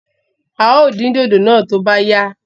Áà ó din dòdò náà to bá yá